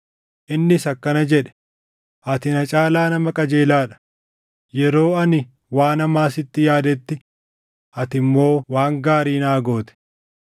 Innis akkana jedhe; “Ati na caalaa nama qajeelaa dha; yeroo ani waan hamaa sitti yaadetti ati immoo waan gaarii naa goote.